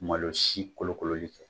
Malo si kolokololi